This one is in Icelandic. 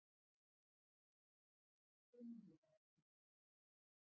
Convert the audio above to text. sunnudagsins